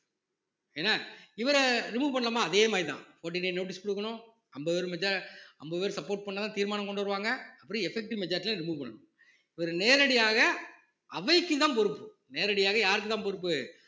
என்ன இவரை remove பண்ணனுமா அதே மாதிரிதான் fourteen day notice கொடுக்கணும் ஐம்பது பேரு அம்பது பேர் support பண்ணா தான் தீர்மானம் கொண்டு வருவாங்க அப்படி effective majority ல remove பண்ணனும் இவர் நேரடியாக அவைக்குதான் பொறுப்பு நேரடியாக யாருக்கு தான் பொறுப்பு